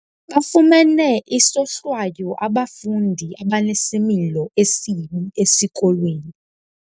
Bafumene isohlwayo abafundi abanesimilo esibi esikolweni.